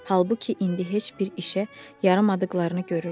Halbuki indi heç bir işə yaramadıqlarını görürdü.